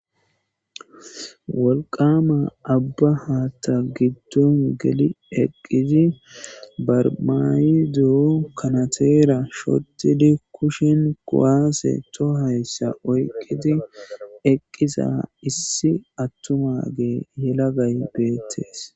Wolqama abba haatta giddon geli eqqidi barmayido kanateera shottidi kushin kowaase to hayssa oyqqidi eqqisa issi attumage yelagay beettees